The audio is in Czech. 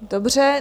Dobře.